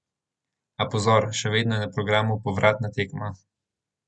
A pozor, še vedno je na programu povratna tekma.